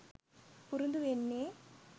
පුරුදු වෙන්නෙ